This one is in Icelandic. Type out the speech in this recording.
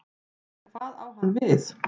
En hvað á hann við?